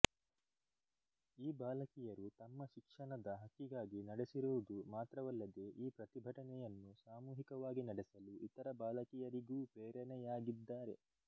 ಈ ಬಾಲಕಿಯರು ತಮ್ಮ ಶಿಕ್ಶಣದ ಹಕ್ಕಿಗಾಗಿ ನಡೆಸಿರುವುದು ಮಾತ್ರವಲ್ಲದೆಈ ಪ್ರತಿಭಟನೆಯನ್ನು ಸಾಮೂಹಿಕವಾಗಿ ನಡೆಸಲು ಇತರ ಬಾಲಕಿಯರಿಗೂ ಪ್ರೇರಣೆಯಾಗಿದ್ದಾರೆ